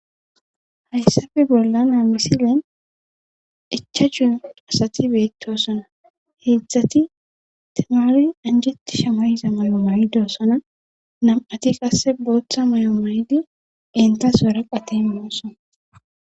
hayssafe bolla naa misilen ichachun asati beettosana heedzdzati temaari anjetti shamayiza may7o mayidoosana nam7ati qasse booththa may7o maydi entas waraqatin moossan